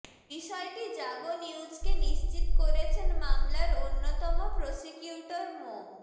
বিষয়টি জাগো নিউজকে নিশ্চিত করেছেন মামলার অন্যতম প্রসিকিউটর মো